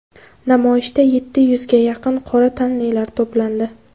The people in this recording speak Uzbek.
Namoyishga yetti yuzga yaqin qora tanlilar to‘plandi.